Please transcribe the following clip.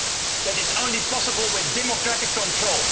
That is only possible with democratic control.